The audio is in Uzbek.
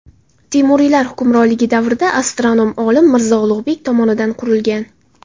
Temuriylar hukmronligi davrida astronom olim Mirzo Ulug‘bek tomonidan qurilgan.